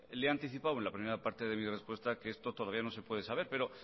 le he anticipado en la primera parte de mi respuesta que esto todavía no se puede saber pero